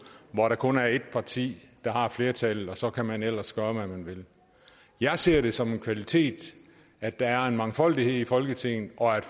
hvor der kun er ét parti der har flertallet og så kan man ellers gøre hvad man vil jeg ser det som en kvalitet at der er en mangfoldighed i folketinget og at